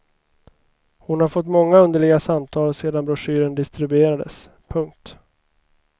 Hon har fått många underliga samtal sedan broschyren distribuerades. punkt